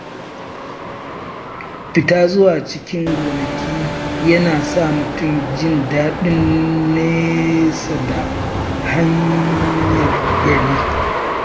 Fita zuwa cikin gonaki yana sa mutum jin daɗin nesa da hayaniyar gari.